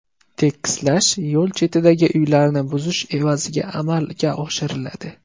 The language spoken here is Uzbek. Tekislash yo‘l chetidagi uylarni buzish evaziga amalga oshiriladi.